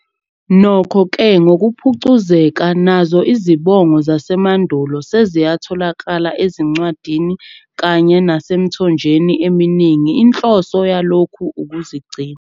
Nokho-ke ngokuphucuzeka nazo izibongo zasemandulo seziyatholakala ezincwadini kanye nesemthonjeni eminingi inhloso yalokhu ukuzigcina.